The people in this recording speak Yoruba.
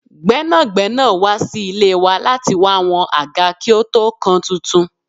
Gbẹ́nàgbẹ́nà wá sí ilé wa lati wá wọn àgá kí ó tó kan tuntun.